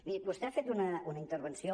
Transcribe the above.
miri vostè ha fet una intervenció